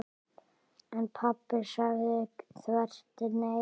En pabbi sagði þvert nei.